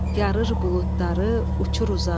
Yarır buludları, uçur uzağa.